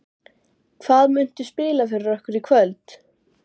Hvað muntu spila fyrir okkur í kvöld?